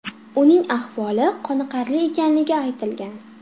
Uning ahvoli qoniqarli ekanligi aytilgan.